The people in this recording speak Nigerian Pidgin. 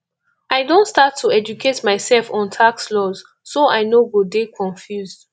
i don start to educate myself on tax laws so i no go dey confused